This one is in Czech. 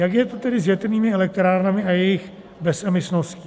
Jak je to tedy s větrnými elektrárnami a jejich bezemisností?